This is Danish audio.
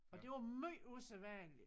Og det var måj usædvanligt